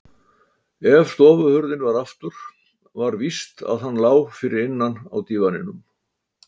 ef stofuhurðin var aftur var víst að hann lá fyrir innan á dívaninum.